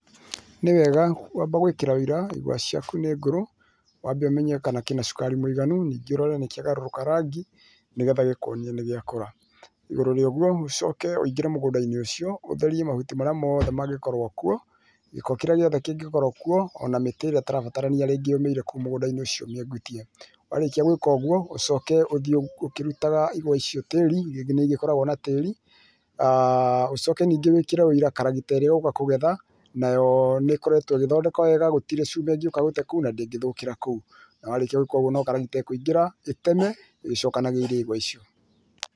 Ni wega kwamba gwĩkĩra ũira igwa ciaku nĩ ngũrũ, wambe ũmenye kana kĩna cukari mũiganu ningĩ ũrore nĩkĩagarũrũka rangi nĩgetha gĩkuonie nĩgĩakũra. Igũrũ rĩa ũguo ũcoke ũingĩre mũgũndainĩ ucio ũtherie mahuti marĩa mothe mangĩkorwo kuo, gĩko kĩrĩa gĩothe kĩngĩkorwo kuo ona mĩtĩ ĩrĩa ĩtarabatarania rĩngĩ yũmĩire kũu mũgũndainĩ ũcio ũmĩegutie. Warĩkia gwĩka ũguo ũcoke ũthiĩ ũkĩrutaga igwa icio tĩĩri rĩngĩ nĩ ĩgĩkoragwo na tĩiri ũcoke ningĩ wĩkĩre ũira karagita ĩrĩa igũka kũgetha nayo nĩĩkoretwo ĩgĩthondekwa wega na gũtirĩ cuma ĩngĩũka gũte kũu na ndĩngĩthũkĩra kũu na warĩkia gwĩka ũguo no karagita ĩkũingĩra ĩteme ĩgĩcokanagĩrĩria igwa icio.